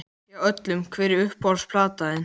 Já, öllum Hver er uppáhalds platan þín?